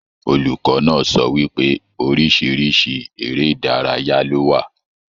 Olùkọ náà sọ wípé orísirísi eré ìdárayá lo wà.